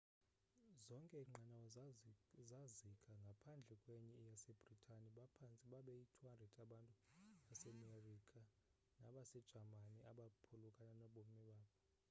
zonke iinqanawa zazika ngaphandle kwenye yasebritani baphantse babeyi-200 abantu basemerika nabasejamani abaphulukana nobomi babo